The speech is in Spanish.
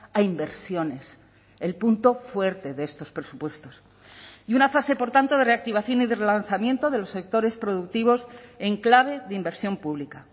a inversiones el punto fuerte de estos presupuestos y una fase por tanto de reactivación y de relanzamiento de los sectores productivos en clave de inversión pública